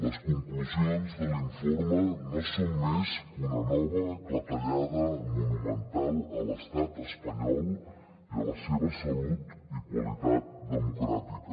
les conclusions de l’informe no són més que una nova clatellada monumental a l’estat espanyol i a la seva salut i qualitat democràtica